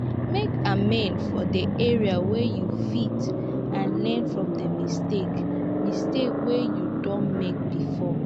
make amend for di areas wey you fit and learn from di mistakes mistakes wey you don make before